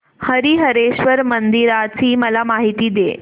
हरीहरेश्वर मंदिराची मला माहिती दे